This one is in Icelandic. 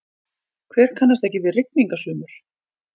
Hver kannast ekki við rigningasumur?